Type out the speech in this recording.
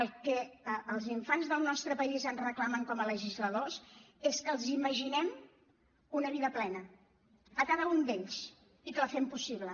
el que els infants del nostre país ens reclamen com a legisladors és que els imaginem una vida plena a cada un d’ells i que la fem possible